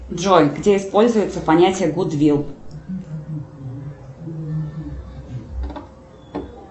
джой где используется понятие гудвилл